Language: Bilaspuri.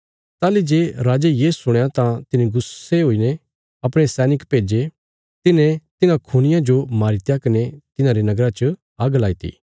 ताहली जे राजे ये सुणया तां तिने गुस्से च आईने अपणे सैनिक भेज्जे तिन्हे तिन्हां खूनियां जो मारीत्या कने तिन्हारे नगरा च आग्ग लाईती